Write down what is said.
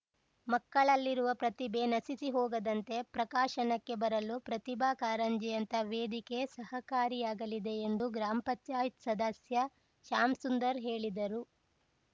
ಮಕ್ಕಳಲ್ಲಿರುವ ಪ್ರತಿಭೆ ನಶಿಸಿ ಹೋಗದಂತೆ ಪ್ರಕಾಶನಕ್ಕೆ ಬರಲು ಪ್ರತಿಭಾ ಕಾರಂಜಿಯಂತಹ ವೇದಿಕೆ ಸಹಕಾರಿಯಾಗಲಿದೆ ಎಂದು ಗ್ರಾಮ್ ಪಂಚಾಯತ್ ಸದಸ್ಯ ಶ್ಯಾಮಸುಂದರ್‌ ಹೇಳಿದರು